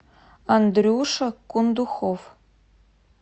андрюша кундухов